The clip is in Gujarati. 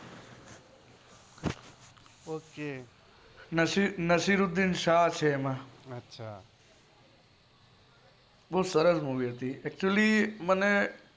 ઓક નસરુદ્દીન શાહ છે એમાં અચ્છા બો સરસ movie હતી